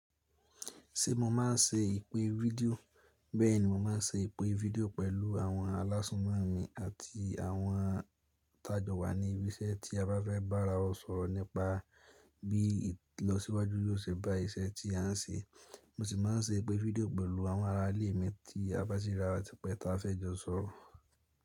Tí mo máa se ìpè rédíò. Bẹ́ẹ̀ni, mo máa ń ṣe ìpè fídíò pẹ̀lú àwọn aláṣọ́nà mi àti àwọn tàjọ̀wá ní ibi iṣẹ́ tí a bá fẹ́ bá ara wa sọ̀rọ̀ nípa bí ìlọsíwájú yóò ṣe bá iṣẹ́ tí a ń ṣe. Mo sì máa ń ṣe ìpè fídíò pẹ̀lú àwọn aralẹ́ mi tí a bá ṣe rántí pé a fẹ́ jọ sọ̀rọ̀.